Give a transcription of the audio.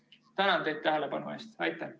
Tänan teid tähelepanu eest!